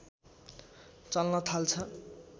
चल्न थाल्छ